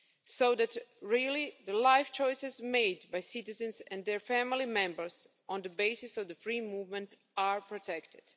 so that the life choices made by citizens and their family members on the basis of free movement are protected.